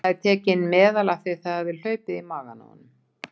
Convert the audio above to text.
Hann hafði tekið inn meðal af því að það hafði hlaupið í magann á honum.